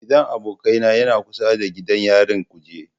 Gidan abokaina yana kusa da gidan yarin kuje.